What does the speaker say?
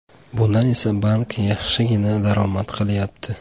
Bundan esa bank yaxshigina daromad qilyapti.